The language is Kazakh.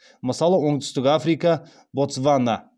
мысалы оңтүстік африка ботсвана